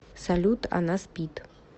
салют она спит